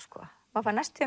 maður fær næstum